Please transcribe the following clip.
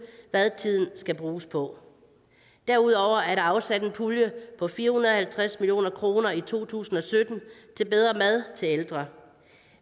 hvad tiden skal bruges på derudover er der afsat en pulje på fire hundrede og halvtreds million kroner i to tusind og sytten til bedre mad til ældre